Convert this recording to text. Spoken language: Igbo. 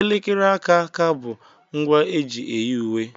Elekere aka aka bụ ngwa eji eyi uwe.